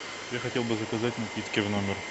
я хотел бы заказать напитки в номер